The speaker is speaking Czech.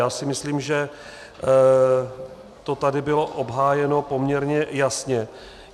Já si myslím, že to tady bylo obhájeno poměrně jasně.